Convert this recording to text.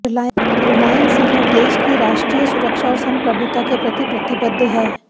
रिलायंस समूह देश की राष्ट्रीय सुरक्षा और संप्रभुता के प्रति प्रतिबद्ध है